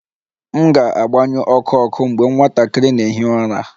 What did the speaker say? M ga-agbanyụ ọkụ ọkụ mgbe nwatakịrị na-ehi ụra